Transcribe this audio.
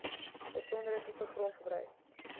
besondere tipe grondgebruik